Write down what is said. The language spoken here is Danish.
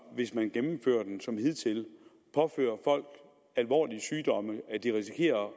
hvis man gennemfører den som hidtil påfører folk alvorlige sygdomme at de risikerer at